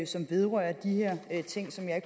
som vedrører de her ting som jeg